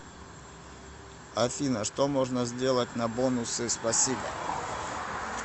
афина что можно сделать на бонусы спасибо